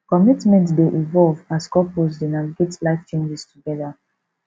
commitment dey evolve as couples dey navigate life changes together